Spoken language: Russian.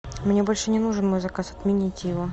мне больше не нужен мой заказ отмените его